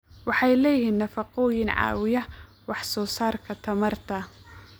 Waxay leeyihiin nafaqooyin caawiya wax soo saarka tamarta.